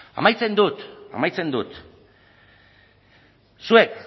amaitzen dut amaitzen dut zuek